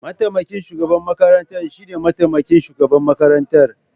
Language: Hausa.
Mataimakin shugaban makarantar shine mataimakin shugaban makarantar.